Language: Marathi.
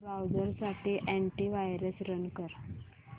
ब्राऊझर साठी अॅंटी वायरस रन कर